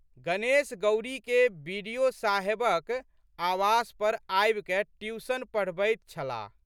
गणेश गौरीके बि.डि.साहेबक आवास पर आबिकए ट्यूशन पढ़बैत छलाह।